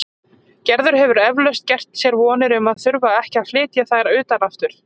Gerður hefur eflaust gert sér vonir um að þurfa ekki að flytja þær utan aftur.